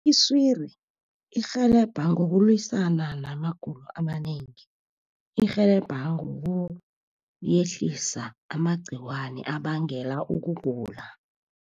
Iswiri irhelebha ngokulwisana namagulo amanengi. Irhelebha ngokuyehlisa amagciwane abangela ukugula.